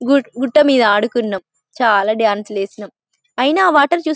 గుట్ట మీద ఆడుకున్నాం చాలా డాన్సులు వేసినం అయినా ఆ వాటర్ చూస్తు --